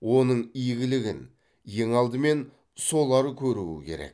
оның игілігін ең алдымен солар көруі керек